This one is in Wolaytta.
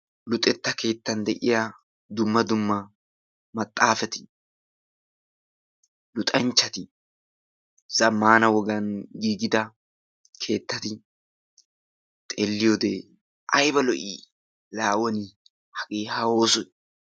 Luxetta keettaan de'iya dumma dumma maxaafati, luxxanchchati, zammana wogan giiggida keettati xeeliyode ayba lo"i laa woni hagee ha oosoy!